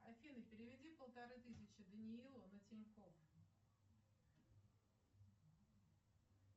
афина переведи полторы тысячи даниилу на тинькофф